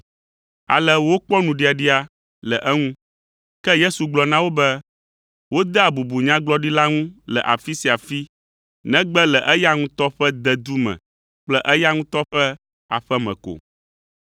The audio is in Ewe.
Ale wokpɔ nuɖiaɖia le eŋu. Ke Yesu gblɔ na wo be, “Wodea bubu Nyagblɔɖila ŋu le afi sia afi negbe le eya ŋutɔ ƒe dedu me kple eya ŋutɔ ƒe aƒe me ko.”